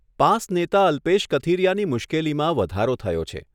Pass નેતા અલ્પેશ કથિરીયાની મુશ્કેલીમાં વધારો થયો છે.